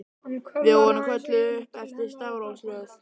Við vorum kölluð upp eftir stafrófsröð.